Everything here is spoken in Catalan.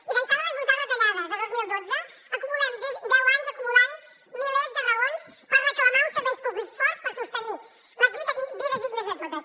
i d’ençà de les brutals retallades de dos mil dotze acumulem deu anys acumulant milers de raons per reclamar uns serveis públics forts per sostenir les vides dignes de totes